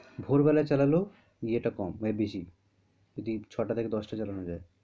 ভোর বেলায় চালালেও ইয়ে টা কম এ busy যদি ছটা থাকা দশটা চালানো যায়।